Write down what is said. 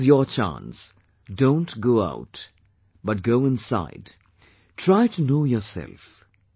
This is your chance, don't go out, but go inside, try to know yourself